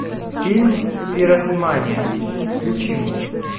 фильм пиросмани включи мне